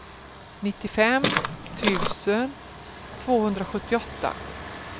nittiofem tusen tvåhundrasjuttioåtta